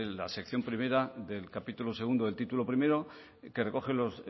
la sección primera del capítulo segundo del título primero que recoge los